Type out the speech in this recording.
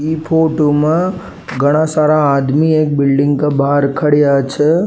इ फोटो में घणा सारा आदमी एक बिल्डिंग के बाहर खड्या छे।